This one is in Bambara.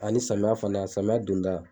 Ani samiya fana samiya don da.